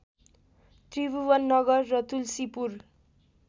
त्रिभुवननगर र तुल्सीपुर